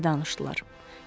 Nəsə danışdılar.